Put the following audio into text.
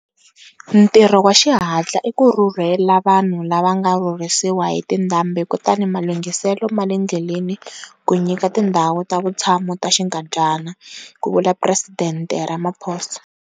Ntirho wa xihatla i ku rhurhela vanhu lava nga rhurhisiwa hi tindhambi kutani malunghiselo ma le ndleleni ku nyika tindhawu ta vutshamo ta xinkadyana, ku vula Presidente Ramaphosa.